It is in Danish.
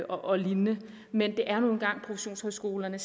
og lignende men det er nu engang professionshøjskolerne